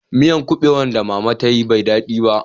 Miyar kubewan da mama ta yi bai yi dadi ba